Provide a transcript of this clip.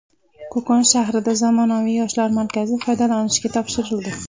Qo‘qon shahrida zamonaviy Yoshlar markazi foydalanishga topshirildi.